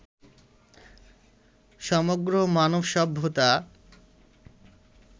সমগ্র মানব সভ্যতা